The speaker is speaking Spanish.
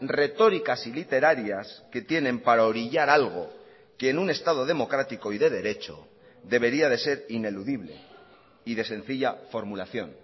retóricas y literarias que tienen para orillar algo que en un estado democrático y de derecho debería de ser ineludible y de sencilla formulación